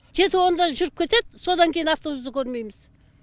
түйе сауымда жүріп кетеді содан кейін автобусты көрмейміз